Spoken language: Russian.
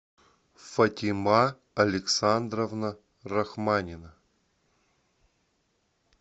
фатима александровна рахманина